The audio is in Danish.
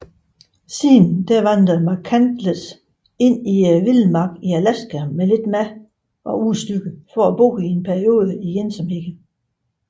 Siden vandrede McCandless ind i vildmarken i Alaska med lidt mad og udstyr for at bo en periode i ensomhed